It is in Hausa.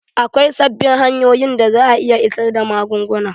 Akwai sabbin hanyoyin da za a iya isar da magunguna.